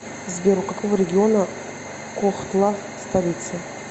сбер у какого региона кохтла столица